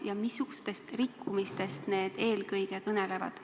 Kui on, siis missugustest rikkumistest eelkõige need kõnelevad?